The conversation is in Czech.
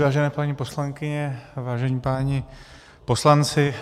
Vážené paní poslankyně, vážení páni poslanci.